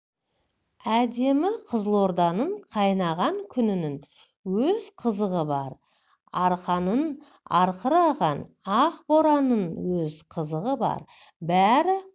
әдемі қызылорданың қайнаған күнінің өз қызығы бар арқаның арқыраған ақ боранының өз қызығы бар бәрі